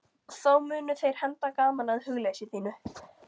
Þá munu þeir henda gaman að hugleysi þínu.